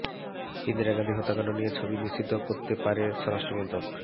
ইন্দিরা গান্ধী হত্যাকাণ্ড নিয়ে ছবি নিষিদ্ধ করতে পারে স্বরাষ্ট্র মন্ত্রক